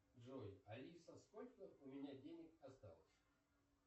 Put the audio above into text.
джой алиса сколько у меня денег осталось